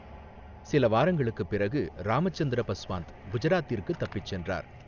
சில வாரங்களுக்குப் பிறகு, ராமச்சந்திர பஸ்வாந்த் குஜராத்திற்கு தப்பிச் சென்றார்.